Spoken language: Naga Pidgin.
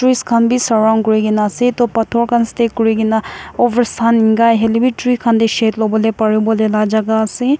Trees khan bi surround kuri kene ase toh pitor khan set kuri kene over sun enika hoi le bi tree khan te shed lobo le pari bole la jaka ase.